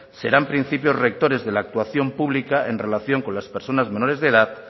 serán principios rectores de la actuación pública en relación con las personas menores de edad